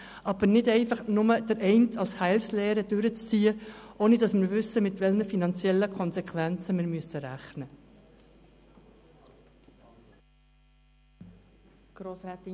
Aber es soll nicht einfach die eine Massnahme als Heilslehre durchgezogen werden, ohne zu wissen, mit welchen finanziellen Konsequenzen wir rechnen müssen.